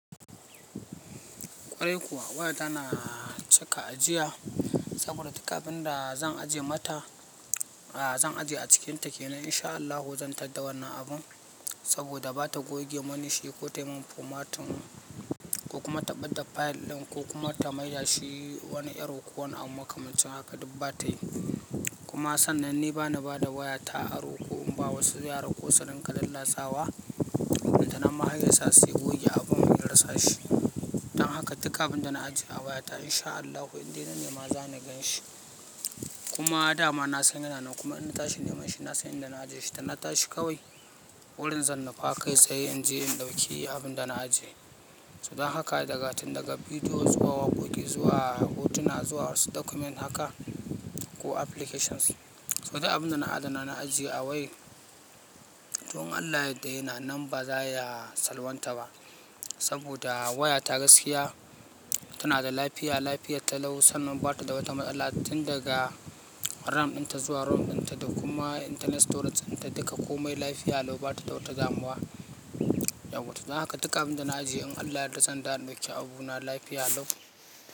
Kwarai kuwa waya ta na cika ajiya saboda duk abin da zan ajiye mata, a zan ajiye a cikinta kenan insha Allahu zan ta da wannan abun saboda ba ta goge mini shi ko ta yi min formatin ko kuma ta ɓadda fayil ɗin ko kuma ta maye shi wani yaro ko wani abu makamancin haka duk ba ta yi. Kuma sannan ni bana ba da waya ta aro ko in ba wasu yara ko su ringa lallatsawa, ballantana ma har ya sa su goge abun in rasa shi. Dan haka duka abin da na ajiye a waya ta insha Allahu inda na ne ma zan gan shi. Kuma a da ma na san yana nan kuma in na tashi niman shi na san inda na ajiye shi da na tashi kawai wurin zan nufa kai tsaye in je in ɗauki abun da na ajiye. Saboda haka daga tin daga bidiyo zuwa wakodi zuwa hotuna zuwa wasu document haka ko applications. Toh duk abunda na adana na ajiye a wayar toh in Allah ya yarda yana nan ba zaya salwanta bah saboda waya ta gaskiya tana da lafiya, lafiyata lau sannan ba ta da wata matsala tin daga RAM dinta zuwa ROM dinta da kuma internet storage dinta duka komai lafiya lau ba ta da wata zamuwa. Dan haka duka abin da na ajiye in Allah yadda zan da ɗauki abuna lafiya lau.